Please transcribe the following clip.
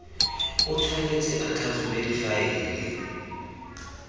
o tshwanetse a tlhatlhobe difaele